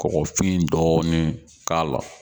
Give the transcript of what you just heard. kɔgɔfin dɔɔnin k'a la.